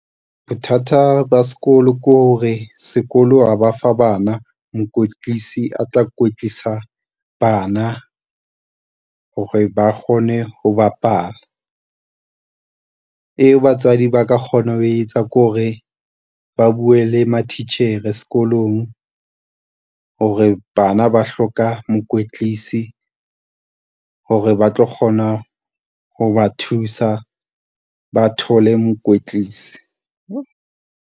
Bothata ba sekolo ke hore, sekolo ha ba fa bana mokwetlisi a tla kwetlisa bana hore ba kgone ho bapala. Eo batswadi ba ka kgona ho e etsa ke hore, ba bue le matitjhere sekolong hore bana ba hloka mokwetlisi, hore ba tlo kgona ho ba thusa, ba thole mokwetlisi.